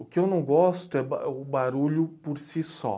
O que eu não gosto é o barulho por si só.